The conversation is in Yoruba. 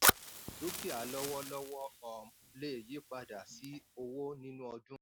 dúkìá lówólówó um lè yípadà sí owó nínú ọdún.